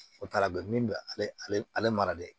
O taara bi min bɛ ale ale mara de